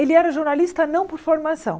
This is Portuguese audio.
Ele era jornalista não por formação.